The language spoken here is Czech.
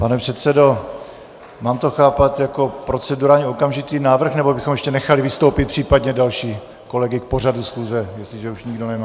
Pane předsedo, mám to chápat jako procedurální okamžitý návrh, nebo bychom ještě nechali vystoupit případně další kolegy k pořadu schůze, jestliže už nikdo nemá...?